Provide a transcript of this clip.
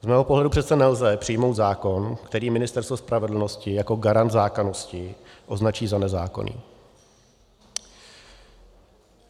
Z mého pohledu přece nelze přijmout zákon, který Ministerstvo spravedlnosti jako garant zákonnosti označí za nezákonný.